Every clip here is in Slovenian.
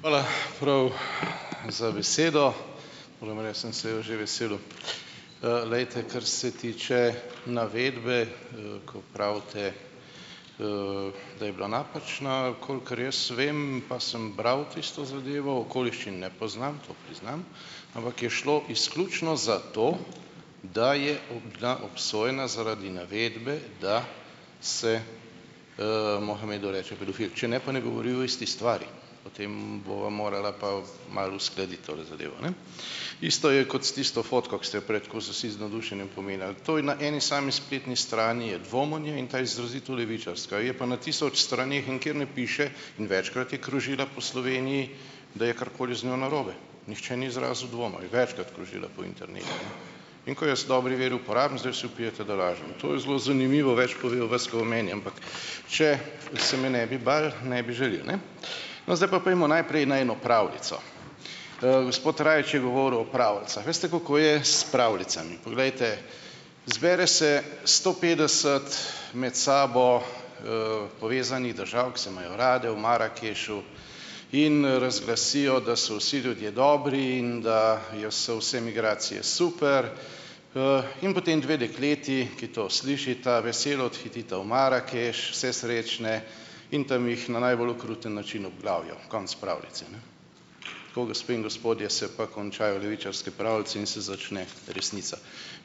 Hvala, prav, za besedo. Moram reči, sem se je že veselil. glejte, kar se tiče navedbe, ko pravite, da je bila napačna. Kolikor jaz vem, pa sem bral tisto zadevo, okoliščin ne poznam, to priznam, ampak je šlo izključno za to, da je bila obsojena zaradi navedbe, da se Mohamedu reče pedofil. Če ne pa ne govori o isti stvari. Potem bova morala pa malo uskladiti tole zadevo, ne. Isto je kot s tisto fotko, ki ste jo prej tako vsi tako z navdušenjem pominjali. To je na eni sami spletni strani je dvom o njej in ta izrazito levičarska. Je pa na tisoč straneh in nikjer ne piše, in večkrat je krožila po Sloveniji, da je karkoli z njo narobe. Nihče ni izrazil dvoma. Je večkrat krožila po internetu. In ko jaz v dobri veri uporabim, zdaj vsi vpijete, da lažem. To je zelo zanimivo. Več pove o vas, ko o meni, ampak, če se me ne bi bili, ne bi žalil, ne? No, zdaj pa pojdimo najprej na eno pravljico. Gospod Rajič je govoril o pravljicah. Veste, kako je s pravljicami? Poglejte, zbere se sto petdeset med sabo povezanih držav, ki se imajo rade, v Marakešu in razglasijo, da so vsi ljudje dobri in da je so vse migracije super in potem dve dekleti, ki to slišita, veselo odhitita v Marakeš, vse srečne, in tam jih na najbolj okruten način obglavijo. Konec pravljice, ne. Tako, gospe in gospodje, se pa končajo levičarske pravljice in se začne resnica.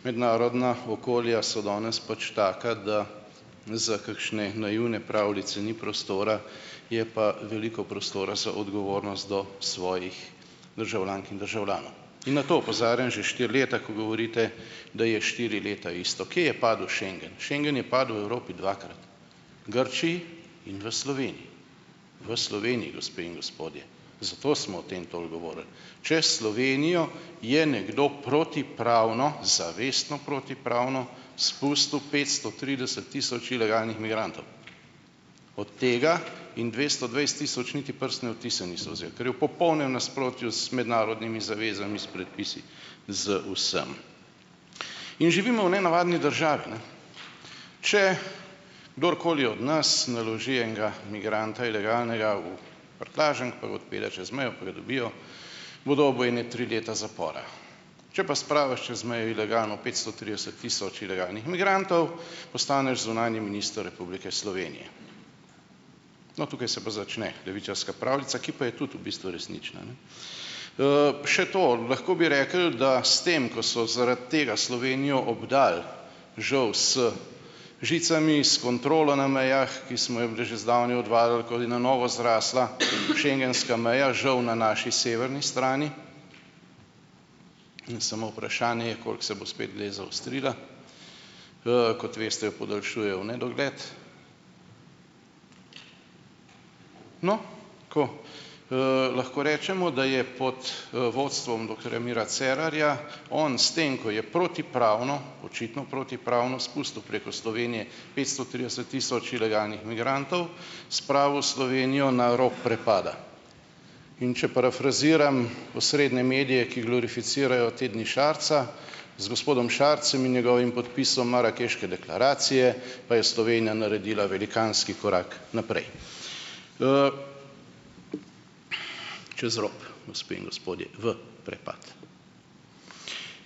Mednarodna okolja so danes pač taka, da za kakšne naivne pravljice ni prostora. Je pa veliko prostora za odgovornost do svojih državljank in državljanov. In na to opozarjam že štiri leta, ko govorite, da je štiri leta isto. Kje je padel schengen? Schengen je padel v Evropi dvakrat, Grčiji in v Sloveniji. V Sloveniji, gospe in gospodje, zato smo o tem toliko govorili. Čez Slovenijo je nekdo protipravno, zavestno protipravno, spustil petsto trideset tisoč ilegalnih migrantov. Od tega jim dvesto dvajset tisoč niti prstne odtise niso vzeli, kar je v popolnem nasprotju z mednarodnimi zavezami, s predpisi, z vsem. In živimo v nenavadni državi, ne. Če kdorkoli od nas naloži enega migranta ilegalnega v prtljažnik, pa ga odpelje čez mejo, pa ga dobijo, bo dobil ene tri leta zapora. Če pa spraviš čez mejo ilegalno petsto trideset tisoč ilegalnih migrantov, postaneš zunanji minister Republike Slovenije. No, tukaj se pa začne levičarska pravljica, ki pa je tudi v bistvu resnična, ne. Še to, lahko bi rekli, da s tem, ko so zaradi tega Slovenijo obdal, žal, z žicami, s kontrolo na mejah, ki smo jo bili že zdavnaj odvadili, ko je na novo zrasla schengenska meja, žal, na naši severni strani, in samo vprašanje je, koliko se bo spet dej zaostrila, kot veste, jo podaljšujejo v nedogled. No, ko lahko rečemo, da je pod vodstvom doktorja Mira Cerarja on s tem, ko je protipravno, očitno protipravno spustil preko Slovenije petsto trideset tisoč ilegalnih migrantov, spravil Slovenijo na rob prepada. In če parafraziram osrednje medije, ki glorificirajo te dni Šarca, z gospodom Šarcem in njegovim podpisom marakeške deklaracije pa je Slovenija naredila velikanski korak naprej. Čez rob, gospe in gospodje, v prepad.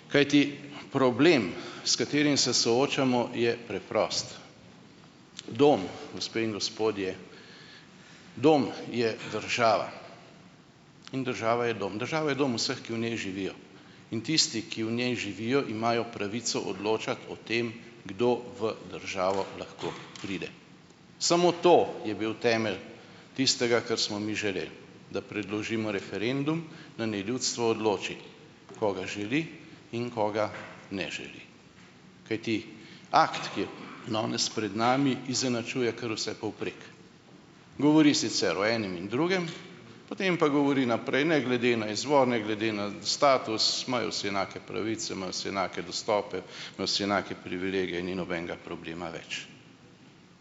Kajti, problem, s katerim se soočamo, je preprost. Dom, gospe in gospodje, dom je država. In država je dom. Država je dom vseh, ki v njej živijo. In tisti, ki v njej živijo, imajo pravico odločati o tem, kdo v državo lahko pride. Samo to je bil temelj tistega, kar smo mi želeli, da predložimo referendum, da naj ljudstvo odloči, koga želi in koga ne želi. Kajti, akt, ki je danes pred nami, izenačuje kar vse povprek. Govori sicer o enem in drugem, potem pa govori naprej, ne glede na izvor, ne glede na status imajo vsi enake pravice, imajo vsi enake dostope, imajo vsi enake privilegije, ni nobenega problema več.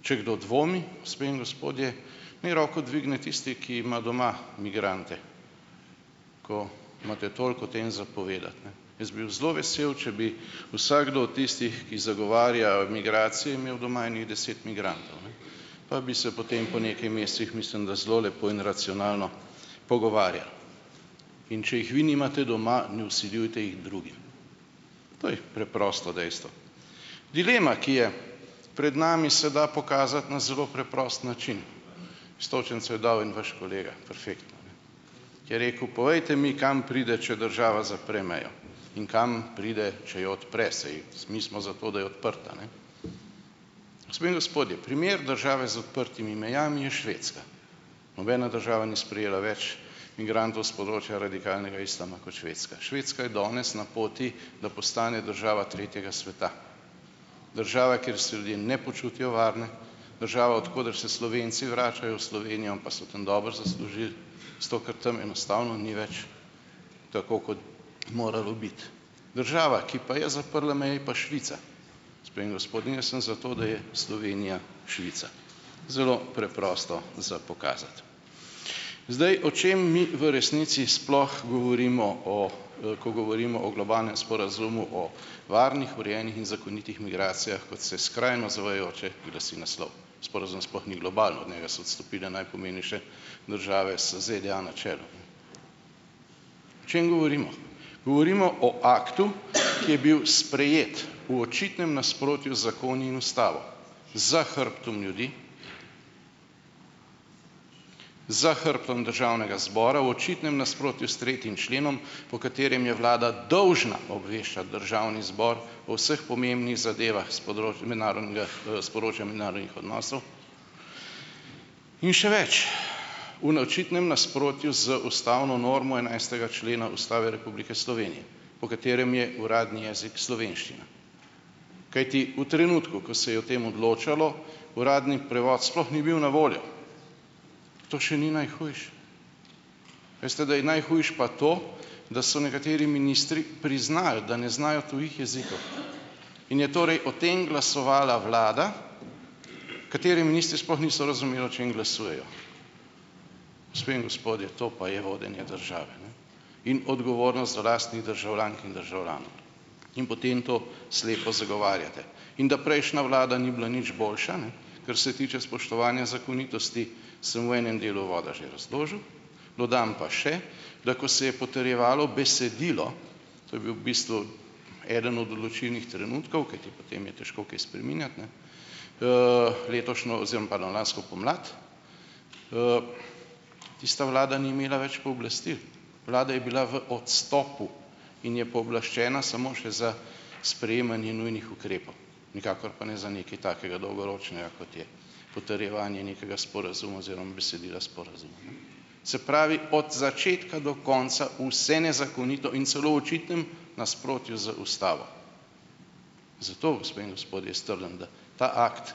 Če kdo dvomi, gospe in gospodje, naj roko dvigne tisti, ki ima doma migrante, ko imate toliko o tem za povedati, ne. Jaz bil zelo vesel, če bi vsakdo od tistih, ki zagovarja migracije, imel doma ene deset migrantov, ne. Pa bi se potem po nekaj mesecih, mislim da, zelo lepo in racionalno pogovarjali. In če jih vi nimate doma, ne vsiljujte jih drugim. To je preprosto dejstvo. Dilema, ki je pred nami, se da pokazati na zelo preprost način. Iztočnico je dal en vaš kolega, perfektno, ko je rekel, povejte mi, kam pride, če država zapre mejo, in kam pride, če je odpre. Saj mi smo za to, da je odprta, ne. Gospe in gospodje, primer države z odprtimi mejami je Švedska. Nobena država ni sprejela več migrantov s področja radikalnega islama kot Švedska. Švedska je danes na poti, da postane država tretjega sveta. Država, kjer se ljudje ne počutijo varne, država, od koder se Slovenci vračajo v Slovenijo, pa so tam dobro zaslužili, seto, ker tam enostavno ni več tako kot moralo biti. Država, ki pa je zaprla meje, pa Švica, gospe in gospodje, in jaz sem za to, da je Slovenija Švica. Zelo preprosto za pokazati. Zdaj, o čem mi v resnici sploh govorimo o, ko govorimo o globalnem sporazumu o varnih, urejenih in zakonitih migracijah, kot se skrajno zavajajoče glasi naslov, sporazum sploh ni globalen, od njega so odstopile najpomembnejše države, z ZDA na čelu. O čem govorimo? Govorimo o akt u, ki je bil sprejet v očitnem nasprotju zakoni in ustavo, za hrbtom ljudi, za hrbtom Državnega zbora, v očitnem nasprotju s tretjim členom, po katerem je vlada dolžna obveščati državni zbor o vseh pomembnih zadevah s področja mednarodnega, s področja mednarodnih odnosov in še več, v naočitnem nasprotju z ustavno normo enajstega člena Ustave Republike Slovenije, po katerem je uradni jezik slovenščina. Kajti v trenutku, ko se je o tem odločalo, uradni prevod sploh ni bil na voljo. To še ni najhujše. Veste, da je najhujše pa to, da so nekateri ministri priznali , da ne znajo tujih jezikov, in je torej o tem glasovala vlada, katere ministri sploh niso razumeli, o čem glasujejo. Gospe in gospodje, to pa je vodenje države, ne, in odgovornost do lastnih državljank in državljanov. In potem to slepo zagovarjate, in da prejšnja vlada ni bila nič boljša, ne, kar se tiče spoštovanja zakonitosti, sem v enem delu uvoda že razložil, dodam pa še, da ko se je potrjevalo besedilo, to je bil v bistvu eden od določilnih trenutkov, kajti potem je težko kaj spreminjati, ne letošnjo, oziroma pardon, lansko pomlad, tista vlada ni imela več pooblastil, vlada je bila v odstopu in je pooblaščena samo še za sprejemanje nujnih ukrepov, nikakor pa ne za nekaj takega dolgoročnega, kot je potrjevanje nekega sporazuma oziroma besedila sporazuma. Se pravi od začetka do konca vse nezakonito in celo v očitnem nasprotju z ustavo. Zato, gospe in gospodje, jaz trdim, da ta akt,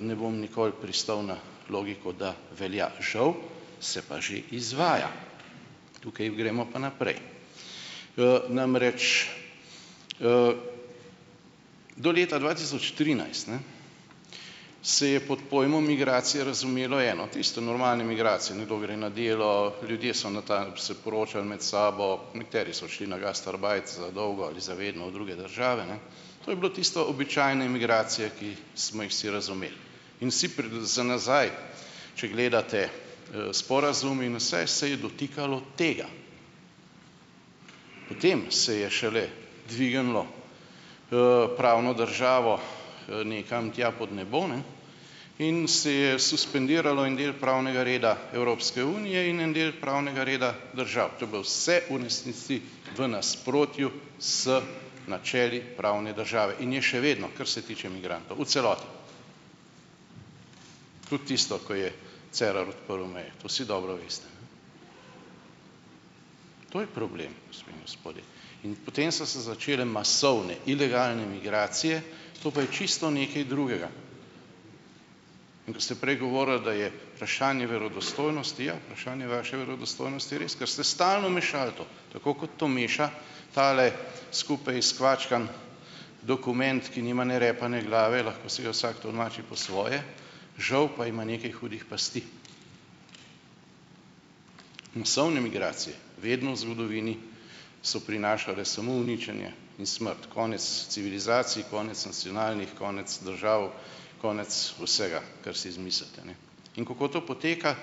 ne bom nikoli pristal na logiko, da velja, žal, se pa že izvaja. Tukaj gremo pa naprej, namreč do leta dva tisoč trinajst, ne, se je pod pojmom migracije razumelo eno, tiste normalne migracije - nekdo gre na delo, ljudje so na se poročali med sabo, nekateri so šli na gasterbajt za dolgo ali za vedno v druge države. To je bilo tisto običajne migracije, ki smo jih vsi razumeli in vsi za nazaj, če gledate sporazum in vse, se je dotikalo tega. Po tem se je šele dvignilo pravno državo nekam tja pod nebo, ne, in se je suspendiralo en del pravnega reda Evropske unije in en del pravnega reda držav. To je bilo vse v resnici v nasprotju z načeli pravne države in je še vedno, kar se tiče migrantov, v celoti. Tudi tisto, ko je Cerar odprl meje, to vsi dobro veste. To je problem, gospe in gospodje, in potem so se začele masovne ilegalne migracije, to pa je čisto nekaj drugega. In ko ste prej govorili, da je vprašanje verodostojnosti - ja, vprašanje vaše verodostojnosti je res, ker ste stalno mešali to, tako kot to meša tale skupaj skvačkan dokument, ki nima ne repa ne glave. Lahko si ga vsak tolmači po svoje, žal pa ima nekaj hudih pasti. Masovne migracije vedno v zgodovini so prinašale samo uničenje in smrt. Konec civilizacij, konec nacionalnih, konec držav, konec vsega, kar si izmislite. In kako to poteka?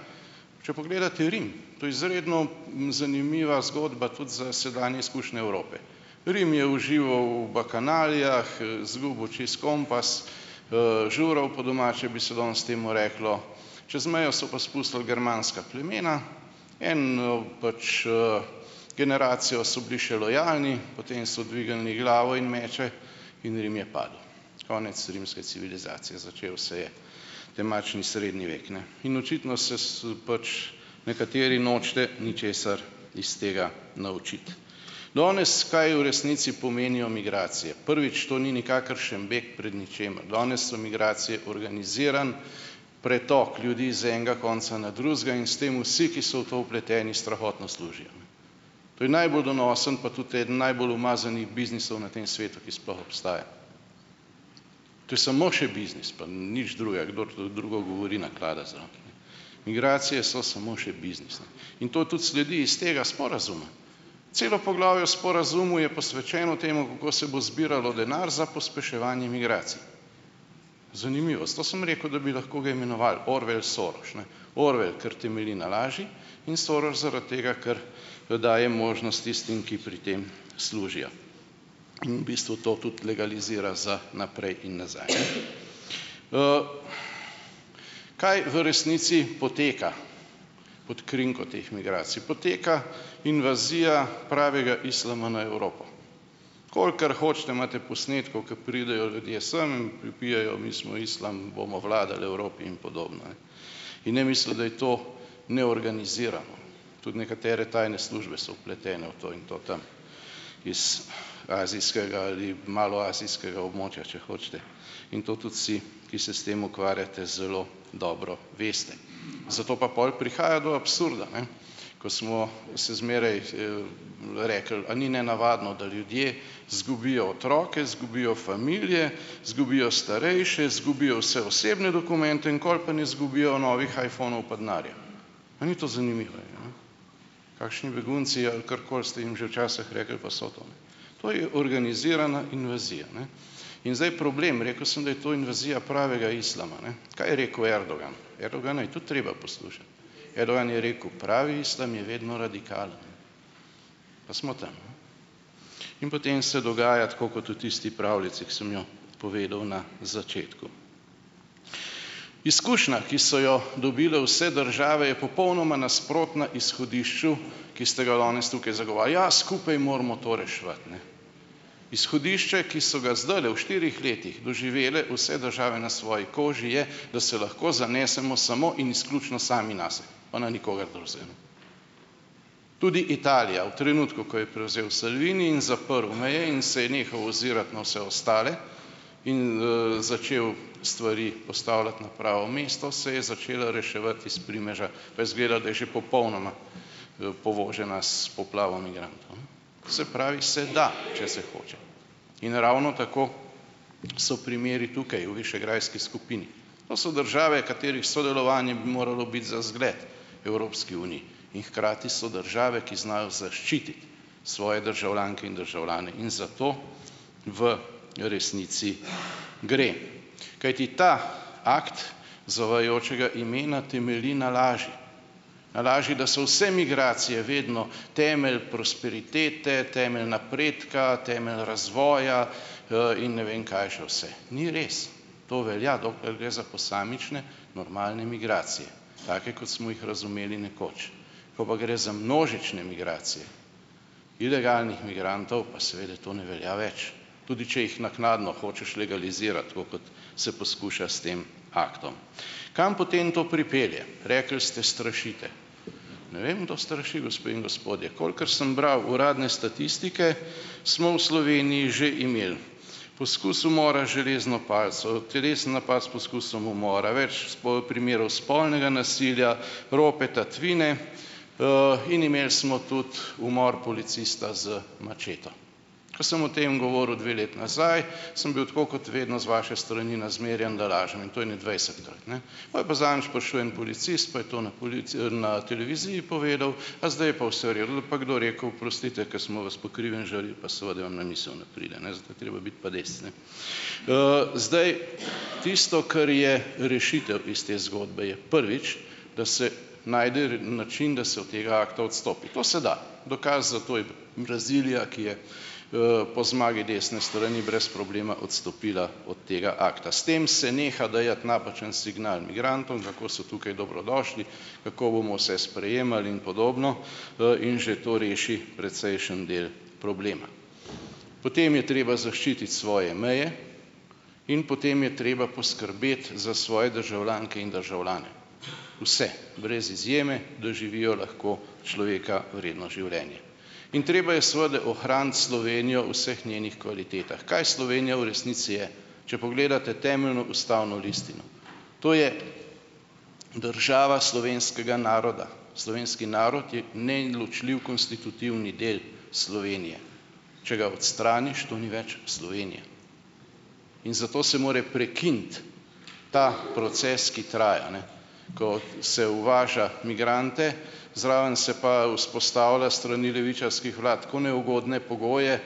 Če pogledate Rim, to je izredno zanimiva zgodba tudi za sedanje izkušnje Evrope. Rim je užival v bakanalijah, zgubil čisto kompas, žural po domače, bi se danes temu reklo, čez mejo so pa spustili germanska plemena, eno pač generacijo so bili še lojalni, potem so dvignili glavo in meče in Rim je padel. Konec rimske civilizacije, začel se je temačni srednji vek, ne, in očitno se s pač nekateri nočete ničesar iz tega naučiti. Danes, kaj v resnici pomenijo migracije. Prvič, to ni nikakršen beg pred ničimer. Danes so migracije organiziran pretok ljudi z enega konca na drugega in s tem vsi, ki so v to vpleteni, strahotno služijo. To je najbolj donosen, pa tudi eden najbolj umazanih biznisov na tem svetu, ki sploh obstaja. To je samo še biznis, pa nič drugega. Kdor drugo govori, naklada zame. Migracije so samo še biznis. In to tudi sledi iz tega sporazuma. Celo poglavje o sporazumu je posvečeno temu, kako se bo zbiralo denar za pospeševanje migracij. Zanimivo. Zato sem rekel, da bi lahko ga imenoval Orwell-Soros, ne. Orwell, ker temelji na laži, in Soros zaradi tega, ker ki daje možnost tistim, ki pri tem služijo, in v bistvu to tudi legalizira za naprej in nazaj. Kaj v resnici poteka pot krinko teh migracij? Poteka invazija pravega islama na Evropo. Kolikor hočete, imate posnetkov, ko pridejo ljudje sem in vpijejo, mi smo islam, bomo vladal Evropi in podobno. In ne misliti, da je to neorganizirano. Tudi nekatere tajne službe so vpletene v to in to tam iz azijskega ali maloazijskega območja, če hočete. In to tudi si, ki se s tem ukvarjate, zelo dobro veste. Zato pa pol prihaja do absurda, ne. Ko smo se zmeraj rekli, a ni nenavadno, da ljudje zgubijo otroke, zgubijo familije, zgubijo starejše, zgubijo vse osebne dokumente, nikoli pa ne zgubijo novih iphonov, pa denarja. A ni to zanimivo, ja? Kakšni begunci - ali karkoli ste jim že včasih rekli, pa so to? To je organizirana invazija, ne. In zdaj problem. Rekel sem, da je to invazija pravega islama, ne. Kaj je rekel Erdogan? Erdogana je tudi treba poslušati. Erdogan je rekel, pravi islam je vedno radikalen. Pa smo tam. In potem se dogaja tako kot v tisti pravljici, ki sem jo povedal na začetku. Izkušnja, ki so jo dobile vse države, je popolnoma nasprotna izhodišču, ki ste ga danes tukaj zagovarja. Ja, skupaj moramo to reševati, ne. Izhodišče, ki so ga zdajle v štirih letih doživele vse države na svoji koži, je, da se lahko zanesemo samo in izključno sami nase, pa na nikogar drugega. Tudi Italija v trenutku, ko je prevzel Salvini in zaprl meje in se je nehal ozirat na vse ostale in začel stvari postavljati na pravo mesto, se je začela reševati iz primeža, pa je izgledalo, da je že popolnoma povožena s poplavo migrantov. Se pravi se da, če se hoče. In ravno tako so primeri tukaj v višegrajski skupini. To so države, katerih sodelovanje bi moralo biti za zgled Evropski uniji, in hkrati so države, ki znajo zaščititi svoje državljanke in državljane. In za to v resnici gre. Kajti ta akt zavajajočega imena temelji na laži, na laži, da so vse migracije vedno temelj prosperitete, temelj napredka, temelj razvoja in ne vem, kaj še vse. Ni res. To velja, dokler gre za posamične normalne migracije, take kot smo jih razumeli nekoč. Ko pa gre za množične migracije ilegalnih migrantov, pa seveda to ne velja več, tudi če jih naknadno hočeš legalizirati, tako kot se poskuša s tem aktom. Kam potem to pripelje? Rekli ste, strašite. Ne vem, kdo straši, gospe in gospodje. Kolikor sem bral uradne statistike, smo v Sloveniji že imeli poskus umora železno palico, telesni napad s poskusom umora, več primerov spolnega nasilja, rope, tatvine in imeli smo tudi umor policista z mačeto. Ko sem o tem govoril dve leti nazaj, sem bil tako kot vedno z vaše strani nazmerjan, da lažem, in to ene dvajsetkrat, ne. Pol je pa zadnjič prišel en policist, pa je to na na televiziji povedal, a zdaj je pa vse v redu. Da bi pa kdo rekel, oprostite, ko smo vas po krivem žalili, pa seveda vam na misel ne pride, ne, za to je treba biti pa dec, ne. zdaj tisto, kar je rešitev iz te zgodbe, je, prvič, da se najde način, da se od tega akta odstopi. To se da. Dokaz za to je Brazilija, ki je po zmagi desne strani brez problema odstopila od tega akta. S tem se neha dajati napačen signal migrantom, kako so tukaj dobrodošli, kako bomo vse sprejemali in podobno. In že to reši precejšen del problema. Potem je treba zaščititi svoje meje in potem je treba poskrbeti za svoje državljanke in državljane, vse, brez izjeme, da živijo lahko človeka vredno življenje. In treba je seveda ohraniti Slovenijo vseh njenih kvalitetah. Kaj Slovenija v resnici je? Če pogledate temeljno ustavno listino, to je država slovenskega naroda. Slovenski narod je neločljiv konstitutivni del Slovenije. Če ga odstraniš, to ni več Slovenija in zato se more prekiniti ta proces, ki traja, ne ko se uvaža migrante, zraven se pa vzpostavlja strani levičarskih vlad tako neugodne pogoje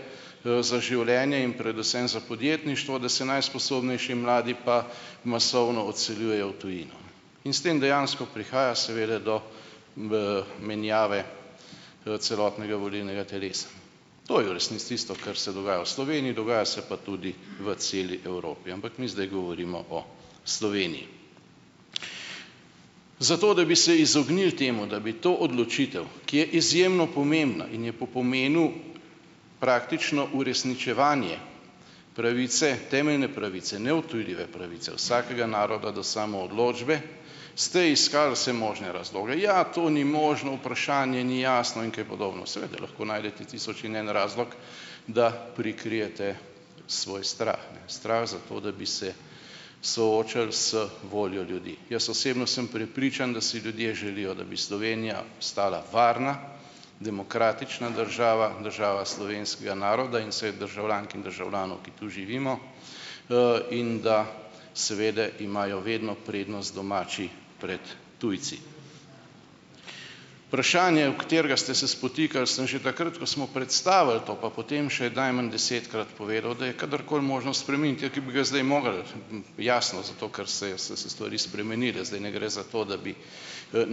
za življenje in predvsem za podjetništvo, da se najsposobnejši mladi pa masovno odseljujejo v tujino, in s tem dejansko prihaja seveda do menjave celotnega volilnega telesa. To je v resnici tisto, kar se dogaja v Sloveniji, dogaja se pa tudi v celi Evropi, ampak mi zdaj govorimo o Sloveniji. Zato, da bi se izognili temu, da bi to odločitev, ki je izjemno pomembna in je po pomenu praktično uresničevanje pravice, temeljne pravice, neodtujljive pravice vsakega naroda do samoodločbe, ste iskali vse možne razloge: ja, to ni možno, vprašanje ni jasno in kaj podobno. Seveda lahko najdete tisoč in en razlog, da prikrijete svoj strah. Strah za to, da bi se soočili z voljo ljudi. Jaz osebno sem prepričan, da si ljudje želijo, da bi Slovenija ostala varna, demokratična država, država slovenskega naroda in vseh državljank in državljanov, ki tu živimo, in da seveda imajo vedno prednost domači pred tujci. Vprašanje, ob katerega ste se spotikali, sem že takrat, ko smo predstavili to pa potem še najmanj desetkrat povedal, da je kadarkoli možno spremeniti. Ja, ker bi ga zdaj mogli, jasno, zato ker se so se stvari spremenile. Zdaj ne gre za to, da bi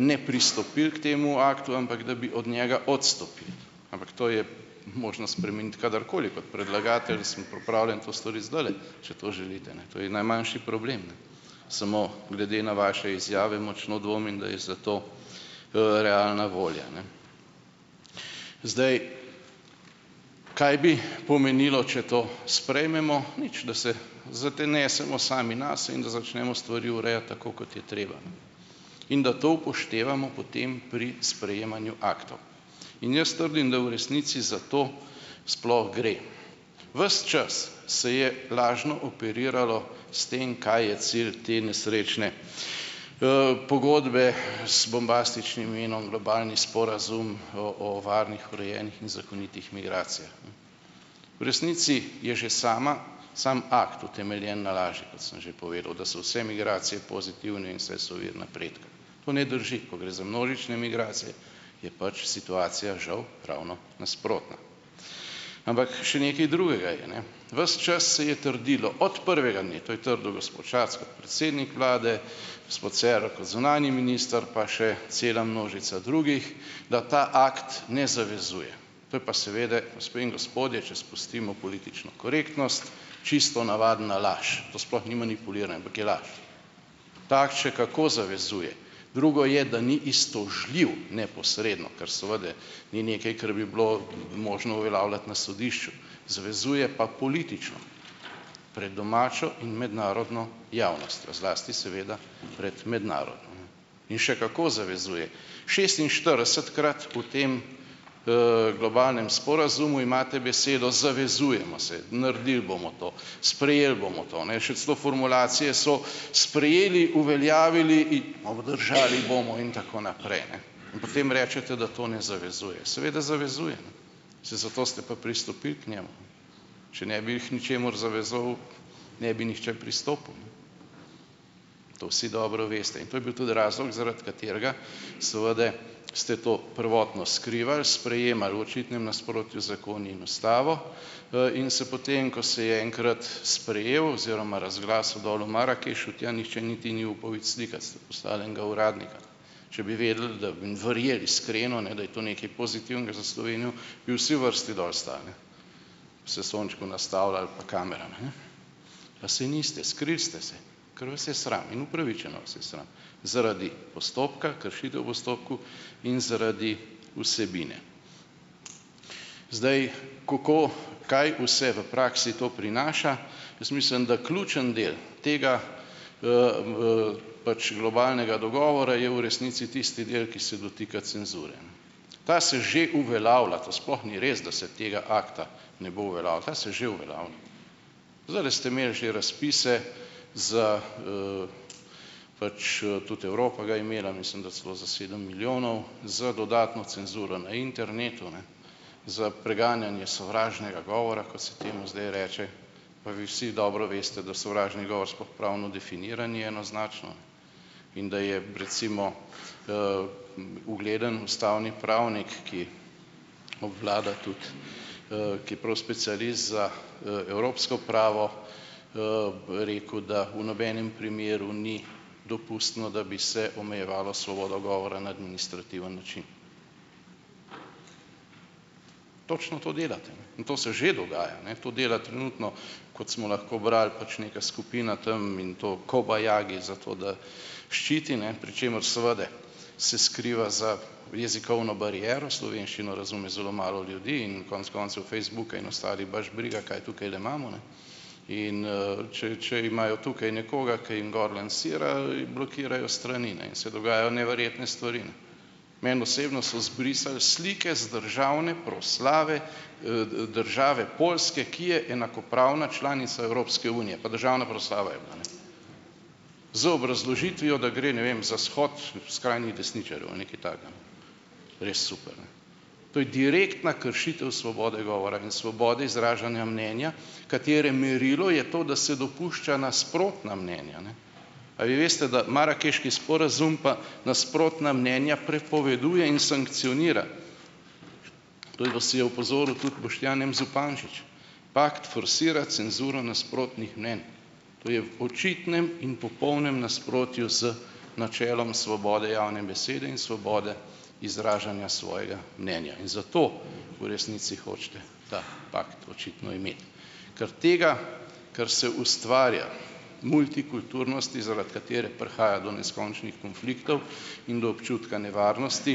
ne pristopili k temu aktu, ampak da bi od njega odstopili. Ampak to je možno spremeniti kadarkoli. Kot predlagatelj sem pripravljen to storiti zdajle, če to želite, ne, to je najmanjši problem, ne. Samo, glede na vaše izjave močno dvomim, da je za to realna volja, ne. Zdaj, kaj bi pomenilo, če to sprejmemo? Nič, da se zanesemo sami nase in, da začnemo stvari urejati tako, kot je treba, in da to upoštevamo potem pri sprejemanju aktov, in jaz trdim, da v resnici za to sploh gre. Ves čas se je lažno operiralo s tem, kaj je cilj te nesrečne pogodbe z bombastičnim imenom Globalni sporazum o o varnih, urejenih in zakonitih migracijah. V resnici je že sama sam akt utemeljen na laži, kot sem že povedal, da so vse migracije pozitivne in vse so vir napredka. To ne drži. Ko gre za množične migracije, je pač situacija žal ravno nasprotna. Ampak še nekaj drugega je, ne. Ves čas se je trdilo, od prvega dne, to je trdil gospod Šarec, kot predsednik vlade, gospod Cerar, kot zunanji minister pa še cela množica drugih, da ta akt ne zavezuje. To je pa seveda, gospod in gospodje, če spustimo politično korektnost, čisto navadna laž. To sploh ni manipuliranje, ampak je laž. Takt še kako zavezuje. Drugo je, da ni iztožljiv neposredno, ker seveda ni nekaj, kar bi bilo možno uveljavljati na sodišču. Zavezuje pa politično. Pred domačo in mednarodno javnostjo, zlasti seveda pred mednarodno. In še kako zavezuje. Šestinštiridesetkrat v tem globalnem sporazumu imate besedo "zavezujemo se", naredili bom to, sprejeli bomo to, ne, še celo formulacije so: Sprejeli, uveljavili, obdržali bomo in tako naprej, ne. In potem rečete, da to ne zavezuje. Seveda zavezuje, saj zato ste pa pristopili k njemu. Če ne bi k ničemur zavezal, ne bi nihče pristopil. To vsi dobro veste in to je bil tudi razlog, zaradi katerega seveda ste to prvotno skrivali, sprejemali v očitnem nasprotju zakoni in Ustavo in se potem, ko se je enkrat sprejel oziroma razglasil dol v Marakešu, tja nihče niti ni upal iti slikat, ste poslali enega uradnika. Če bi vedeli, da bi verjel iskreno, ne, da je to nekaj pozitivnga za Slovenijo, bi vsi v vrsti dol stali, bi se sončku nastavljali pa kameram, a ne. Pa se niste. Skrili ste se, ker vas je sram, in upravičeno vas je sram. Zaradi postopka, kršitev v postopku in zaradi vsebine. Zdaj, kako, kaj vse v praksi to prinaša, jaz mislim, da ključni del tega pač globalnega dogovora je v resnici tisti del, ki se dotika cenzure. Ta se že uveljavlja, to sploh ni res, da se tega akta ne bo uveljavil, ta se že uveljavlja. Zdajle ste imeli že razpise za pač tudi Evropa ga je imela, mislim, da celo za sedem milijonov, z dodatno cenzuro na internetu, ne za preganjanje sovražnega govora - kot se temu zdaj reče - pa vi vsi dobro veste, da sovražni govor sploh pravno definiran ni enoznačno in da je recimo ugleden ustavni pravnik, ki obvlada tudi, ki je prav specialist za evropsko pravo, rekel, da v nobenem primeru ni dopustno, da bi se omejevalo svobodo govora na administrativen način. Točno to delate in to se že dogaja, ne. To dela trenutno kot smo lahko brali, pač neka skupina tam in to, kobajagi zato, da ščiti, ne, pri čemer seveda se skriva za jezikovno bariero; slovenščino razume zelo malo ljudi - in konec koncev Facebook baš briga, kaj tukajle imamo, ne. In če če imajo tukaj nekoga, ki jim gor lansira, blokirajo strani, ne in se dogajajo neverjetne stvari. Meni osebno so zbrisali slike z državne proslave države Poljske, ki je enakopravna članica Evropske unije, pa državna proslava je bila, ne. Z obrazložitvijo, da gre, ne vem, za shod skrajnih desničarjev, nekaj takega. Res super, ne? To je direktna kršitev svobode govora in svobode izražanja mnenja, katere merilo je to, da se dopušča nasprotna mnenja, ne. A vi veste, da Marakeški sporazum pa nasprotna mnenja prepoveduje in sankcionira? To je vas je opozoril tudi Boštjan M. Zupančič. Pakt forsira cenzuro nasprotnih mnenj. To je očitnem in popolnem nasprotju z načelom svobode javne besede in svobode izražanja svojega mnenja in zato v resnici hočete ta pakt očitno imeti, ker tega, kar se ustvarja, multikulturnosti, zaradi katere prihaja do neskončnih konfliktov in do občutka nevarnosti,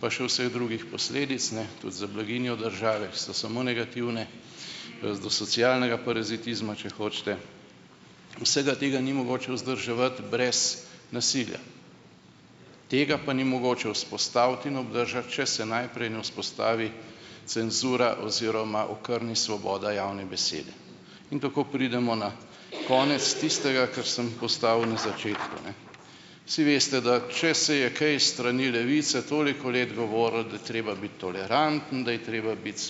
pa še vseh drugih posledic, ne, tudi za blaginjo države, so samo negativne, do socialnega parazitizma, če hočete - vsega tega ni mogoče vzdrževati brez nasilja. Tega pa ni mogoče vzpostaviti in obdržati, če se najprej ne vzpostavi cenzura oziroma okrni svoboda javne besede. In tako pridemo na konec tistega, kar sem postavil na začetku, ne. Vsi veste, da, če se je kaj s strani Levice toliko let govorilo, da je treba biti toleranten, da je treba biti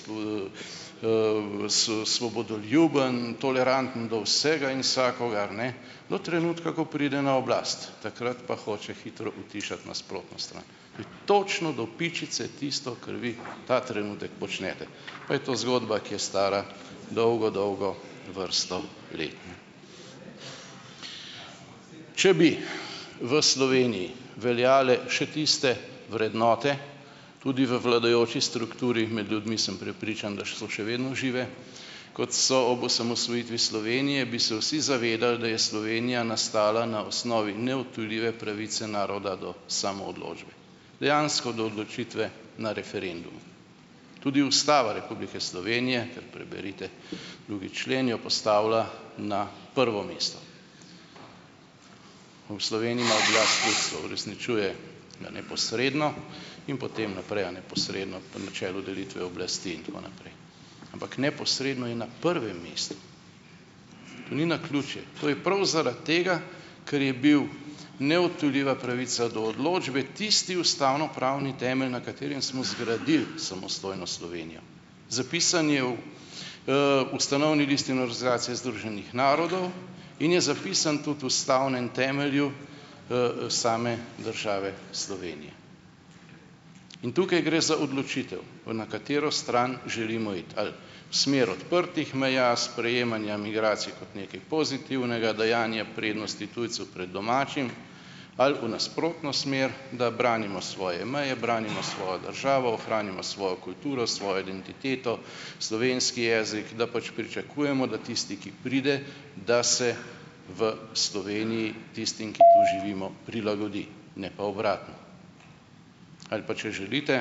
s svobodoljuben, toleranten do vsega in vsakogar, ne, do trenutka, ko pride na oblast. Takrat pa hoče hitro utišati nasprotno stran. Je točno do pičice tisto, kar vi ta trenutek počnete, pa je to zgodba, ki je stara dolgo, dolgo vrsto let. Če bi v Sloveniji veljale še tiste vrednote, tudi v vladajoči strukturi - med ljudmi sem prepričan, da so še vedno žive - kot so ob osamosvojitvi Slovenije, bi se vsi zavedali, da je Slovenija nastala na osnovi neodtujljive pravice naroda do samoodločbe. Dejansko do odločitve na referendumu. Tudi Ustava Republike Slovenije - kar preberite drugi člen - jo postavlja na prvo mesto. V Sloveniji ima oblast ljudstvo, uresničuje ga neposredno in potem naprej, a ne, posredno, po načelu delitve oblasti in tako naprej. Ampak neposredno je na prvem mestu. To ni naključje. To je prav zaradi tega, ker je bil neodtujljiva pravica do odločbe, tisti ustavnopravni temelj, na katerem smo zgradili samostojno Slovenijo. Zapisan je v ustanovni listini Organizacije združenih narodov in je zapisan tudi ustavnem temelju same države, Slovenije. In tukaj gre za odločitev, na katero stran želimo iti. Ali smer odprtih meja, sprejemanja migracij kot nekaj pozitivnega, dajanje prednosti tujcu pred domačim? Ali v nasprotno smer, da branimo svoje meje, branimo svojo državo, ohranimo svojo kulturo, svojo identiteto, slovenski jezik, da pač pričakujemo, da tisti, ki pride, da se v Sloveniji tistim, ki tu živimo prilagodi, ne pa obratno. Ali pa če želite,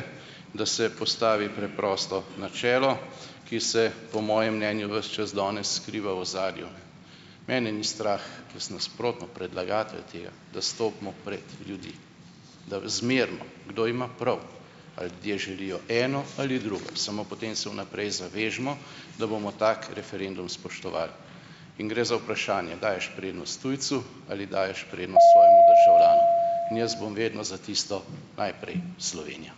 da se postavi preprosto načelo, ki se - po mojem mnenju - ves čas danes skriva v ozadju. Mene ni strah, jaz nasprotno, predlagatelj tega, da stopimo pred ljudi, da zmerimo, kdo ima prav, a ljudje želijo eno ali drugo, samo potem se v naprej zavežimo, da bomo tako referendum spoštovali. In gre za vprašanje, daješ prednost tujcu ali daješ prednost svojemu državljanu. In jaz bom vedno za tisto, najprej Slovenija.